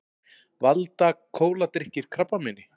Valda kóladrykkir krabbameini